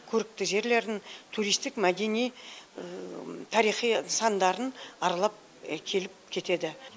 көрікті жерлерін туристік мәдени тарихи сандарын аралап келіп кетеді